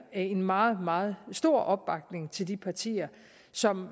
en meget meget stor opbakning til de partier som